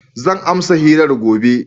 Zan amsa hirar gobe.